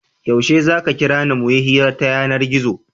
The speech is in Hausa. Yaushe za ka kira ni mu yi hira ta yanar-gizo?